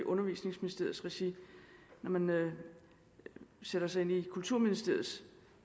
undervisningsministeriets regi når man sætter sig ind i kulturministeriets